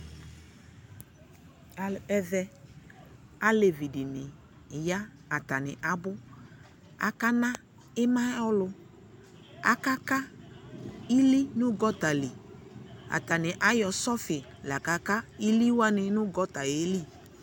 ɛvɛ alevi dini ya atane abo ko akana ima ayo ɔlo aka ka ili no gɔta li atane ayɔ sɔfi la ka ka ili wani no gɔta yɛ li